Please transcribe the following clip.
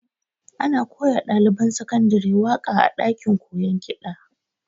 Ana koya wa ɗaliban sakandare waƙa a ɗakin koyon kiɗa